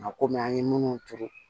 Nka kɔmi an ye munnu turu